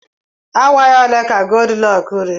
Awaị ole ka Goldilọks riri?